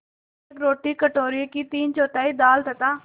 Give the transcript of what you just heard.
एक रोटी कटोरे की तीनचौथाई दाल तथा